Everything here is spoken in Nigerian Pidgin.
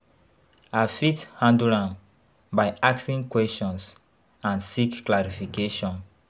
I fit handle am by asking questions and seek clarification.